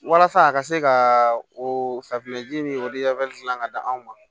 Walasa a ka se ka o safinɛ ji min olu dilan ka di anw ma